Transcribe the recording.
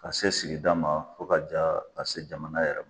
Ka se sigida ma fo ka ja ka se jamana yɛrɛ ma